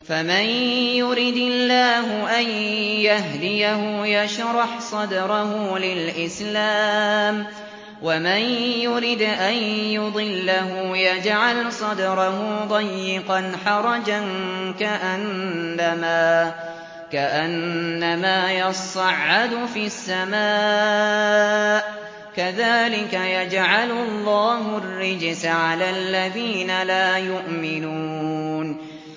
فَمَن يُرِدِ اللَّهُ أَن يَهْدِيَهُ يَشْرَحْ صَدْرَهُ لِلْإِسْلَامِ ۖ وَمَن يُرِدْ أَن يُضِلَّهُ يَجْعَلْ صَدْرَهُ ضَيِّقًا حَرَجًا كَأَنَّمَا يَصَّعَّدُ فِي السَّمَاءِ ۚ كَذَٰلِكَ يَجْعَلُ اللَّهُ الرِّجْسَ عَلَى الَّذِينَ لَا يُؤْمِنُونَ